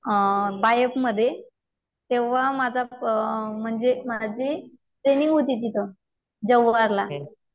अ अ तेव्हा माझा प अ अ म्हणजे माझी ट्रैनिंग होती तिथं जव्हारला.